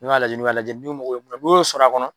y'a lajɛ n'u ka lajɛli ye, n'u mako bɛ mun na n'u y'o sɔrɔ a kɔnɔ